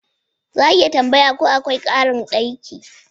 Za a iya tambaya ko akwai karin daki?